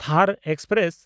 ᱛᱷᱟᱨ ᱮᱠᱥᱯᱨᱮᱥ